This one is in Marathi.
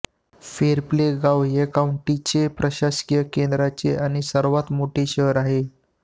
फेरप्ले गाव या काउंटीचे प्रशासकीय केन्द्र आणि सर्वात मोठे शहर आहे